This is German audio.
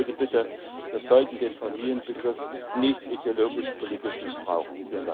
Meine zweite Bitte Wir sollten den Familienbegriff nicht ideologisch politisch missbrauchen.